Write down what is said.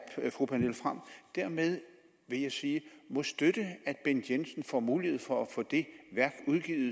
at fru pernille frahm dermed vil jeg sige må støtte at bent jensen får mulighed for at få det værk